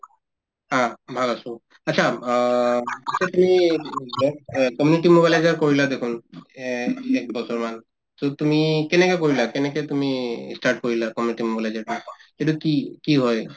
অ, ভাল আছো achha অ achha তুমি অ community mobilizer কৰিলা দেখোন এক একবছৰমান so তুমি কেনেকে কৰিলা কেনেকে তুমি ই start কৰিলা community mobilization সেইটো কি কি হয়